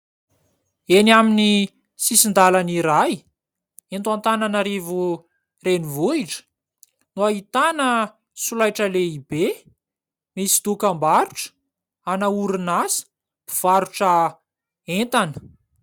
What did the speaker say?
Eny amin'ny sisin-dàlana iray, eto Antananarivo renivohitra, no ahitana solaitra lehibe misy dokam-barotra ana orinasa mpivarotra entana.